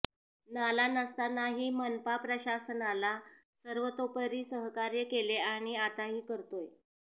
नाला नसतानाही मनपा प्रशासनाला सर्वतोपरी सहकार्य केले आणि आताही करतोय